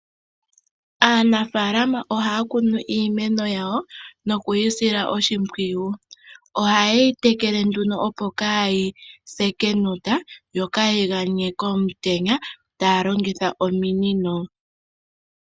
Aanafaalama ohaya kunu iimeno yawo noku yi sila oshimpwiyu. Oha yeyi tekele nduno, opo kaayi se kenota yo kaayi ganye komutenya, taya longitha ominino.